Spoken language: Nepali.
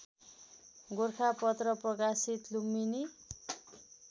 गोरखापत्र प्रकाशित लुम्बिनी